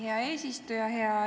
Hea eesistuja!